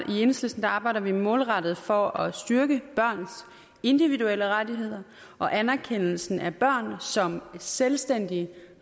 i enhedslisten arbejder vi målrettet for at styrke børns individuelle rettigheder og anerkendelsen af børn som selvstændige